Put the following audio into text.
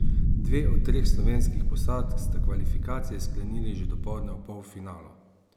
Dve od treh slovenskih posadk sta kvalifikacije sklenili že dopoldne v polfinalu.